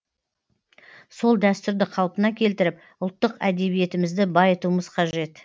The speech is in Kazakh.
сол дәстүрді қалпына келтіріп ұлттық әдебиетімізді байытуымыз қажет